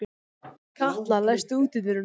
Katla, læstu útidyrunum.